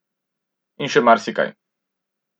In še marsikaj.